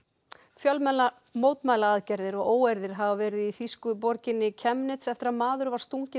fjölmennar mótmælaaðgerðir og óeirðir hafa verið í þýsku borginni Chemnitz eftir að maður var stunginn